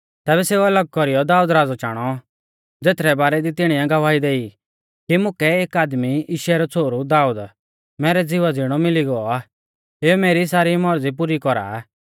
तैबै सेऊ अलग कौरीयौ दाऊद राज़ौ चाणौ ज़ेथरै बारै दी तिणीऐ गवाही देई कि मुकै एक आदमी यिशै रौ छ़ोहरु दाऊद मैरै ज़िवा ज़िणौ मिली गौ आ एऊ मेरी सारी मौरज़ी पुरी कौरा आ